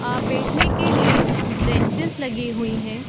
अ बैठने के लिए बेंचेस लगे हुई हैं।